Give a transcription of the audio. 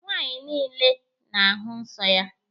Nwaanyị niile na-ahụ nsọ ya.